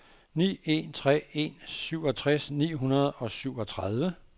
ni en tre en syvogtres ni hundrede og syvogtredive